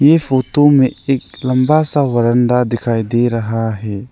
ये फोटो में एक लंबा सा वरांदा दिखाई दे रहा है।